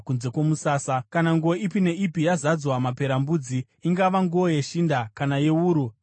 “Kana nguo ipi neipi yazadzwa maperembudzi, ingava nguo yeshinda, kana yewuru kana yomucheka,